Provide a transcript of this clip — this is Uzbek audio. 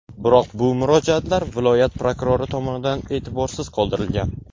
Biroq bu murojaatlar viloyat prokurori tomonidan e’tiborsiz qoldirilgan.